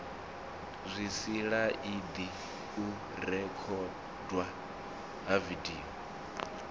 zwisilaidi u rekhodwa ha vidio